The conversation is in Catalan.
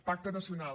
pacte nacional